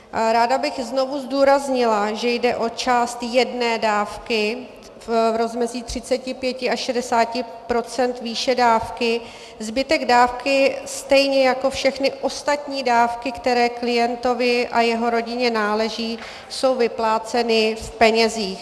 Ráda bych znovu zdůraznila, že jde o část jedné dávky v rozmezí 35 až 60 % výše dávky, zbytek dávky, stejně jako všechny ostatní dávky, které klientovi a jeho rodině náleží, jsou vypláceny v penězích.